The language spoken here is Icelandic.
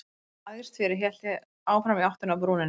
Þegar hann lagðist fyrir hélt ég áfram í áttina að brúninni.